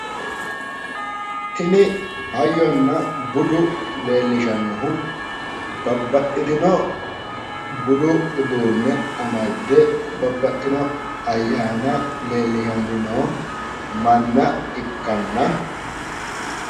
Tini hayyonna budu leellishannohu babbaxxitino budu uduunne amadde babbaxxinno ayyaana leellishanni noo manna ikkanna